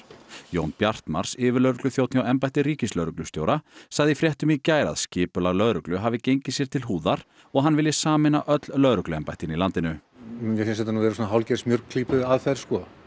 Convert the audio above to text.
Jón Bjartmarz yfirlögregluþjónn hjá embætti ríkislögreglustjóra sagði í fréttum í gær að skipulag lögreglu hafi gengið sér til húðar og að hann vilji sameina öll lögregluembættin í landinu mér finnst þetta vera hálfgerð smjörklípuaðferð